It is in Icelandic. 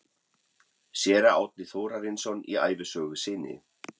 Séra Árni Þórarinsson í ævisögu sinni